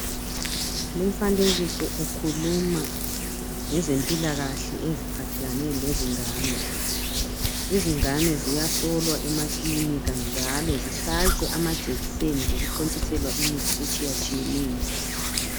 lo mfanekiso ukhuluma ngezempilakahle eziphathelane lezingane izingane ziyahlolwa emakilika njalo zihlatshwa amajekiseni lokuthontiselwa imithi etshiyatshiyeneyo